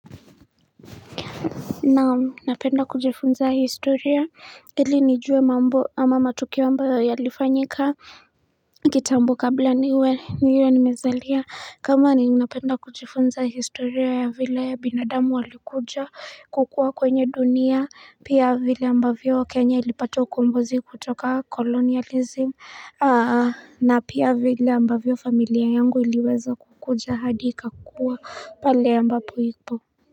Naam, napenda kujifunza historia ili nijue mambo ama matukio ambao yalifanyika kitambo kabla niwe niwe nimezalia kama ni napenda kujifunza historia ya vile binadamu walikuja kukua kwenye dunia pia vile ambavyo kenya ilipatwa kumbozi kutoka colonialism na pia vile ambavyo familia yangu iliweza kukuja hadi ikakuwa pale ambapo ipo.